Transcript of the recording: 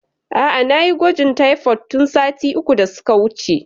A'a nayi gwajin taifod tun sati uku da suka wuce